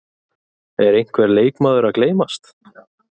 Er einhver leikmaður að gleymast?